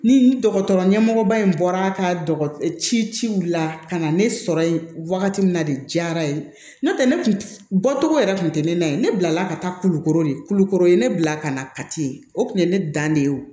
Ni dɔgɔtɔrɔ ɲɛmɔgɔba in bɔra ka ci ci u la ka na ne sɔrɔ yen wagati min na de diyara ye n'o tɛ ne kun bɔcogo yɛrɛ tun tɛ ne na ye ne bilala ka taa kulukɔrɔ de kulukoro ne bila ka na kati o kun ye ne dan de ye o